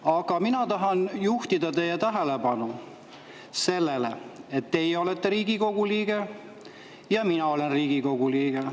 Aga mina tahan juhtida teie tähelepanu sellele, et teie olete Riigikogu liige ja mina olen Riigikogu liige.